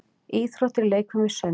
Íþróttir- leikfimi- sund